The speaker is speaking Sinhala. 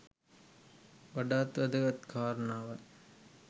වඩාත් වැදගත් කාරණාවයි.